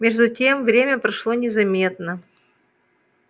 между тем время прошло незаметно